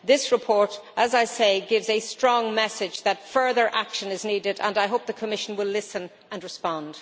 This report, as I say, gives a strong message that further action is needed, and I hope the Commission will listen and respond.